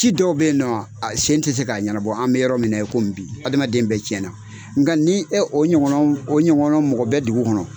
Ci dɔw bɛ yen nɔ sen tɛ se k'a ɲɛnabɔ an bɛ yɔrɔ min na i komi bi adamaden bɛ tiɲɛna nka ni e o ɲɔgɔnɔna mɔgɔ bɛ dugu kɔnɔ